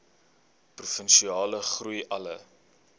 provinsiale groei alle